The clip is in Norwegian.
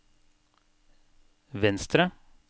venstre